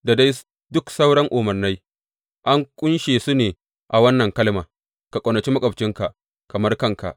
Da dai duk sauran umarnai an ƙunshe su ne a wannan kalma Ka ƙaunaci maƙwabcinka kamar kanka.